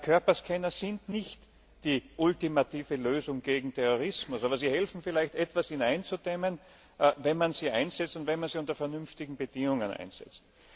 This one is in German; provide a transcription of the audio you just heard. Körperscanner sind nicht die ultimative Lösung gegen Terrorismus, aber sie helfen vielleicht etwas, ihn einzudämmen, wenn man sie einsetzt und wenn man sie unter vernünftigen Bedingungen einsetzt.